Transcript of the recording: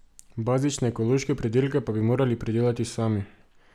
Bazične ekološke pridelke pa bi morali pridelati sami.